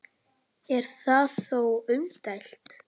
Er það þó umdeilt